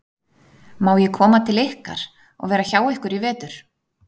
Má ég koma til ykkar og vera hjá ykkur í vetur?